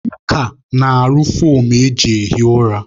Mụọka na-arụ foomụ eji ehi ụra